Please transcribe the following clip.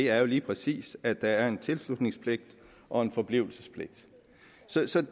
er jo lige præcis at der er en tilslutningspligt og en forblivelsespligt